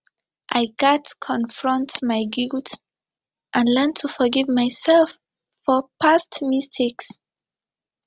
i gats confront my guilt and learn to forgive myself for past mistakes